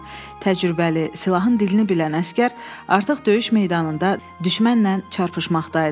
təcrübəli, silahın dilini bilən əsgər artıq döyüş meydanında düşmənlə çarpışmaqdaydı.